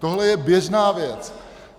Tohle je běžná věc.